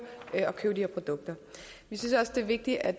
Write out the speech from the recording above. at købe de her produkter vi synes også det er vigtigt at